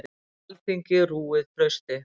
Alþingi rúið trausti